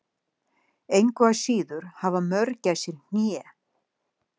Engu að síður hafa mörgæsir hné.